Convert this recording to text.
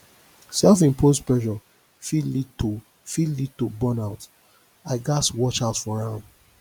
self imposed pressure fit lead to fit lead to burnout i gats watch out for am